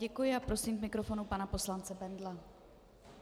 Děkuji a prosím k mikrofonu pana poslance Bendla.